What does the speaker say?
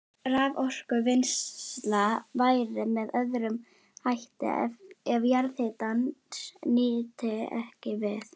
Raforkuvinnsla væri með öðrum hætti ef jarðhitans nyti ekki við.